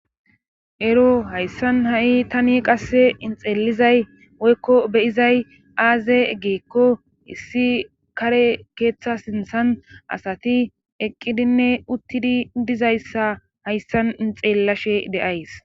Ero hayssan ha'i tani qasse inxeellizay woykko beyizay aaze eggeekko issi kare keeththa sinthan asati eqqidinne uttidi dizayssa hayssan inxeellashe deays.